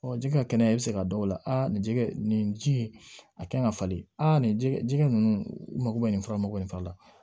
jɛgɛ kɛnɛya bɛ se ka don o la nin jɛgɛ nin ji in a kan ka falen nin jɛgɛ jɛgɛ ninnu u mago bɛ nin fura mako bɛ nin fa la